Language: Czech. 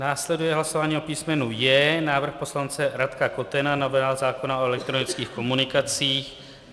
Následuje hlasování o písmenu J, návrh poslance Radka Kotena, novela zákona o elektronických komunikacích.